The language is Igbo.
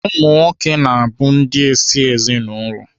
Ụmụnwoke bụ ndị ịsị ezinaụlọ na Naijiria.